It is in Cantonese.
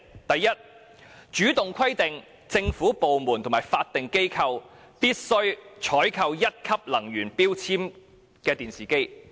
第一，主動規定政府部門和法定機構必須採購1級能源標籤的電視機。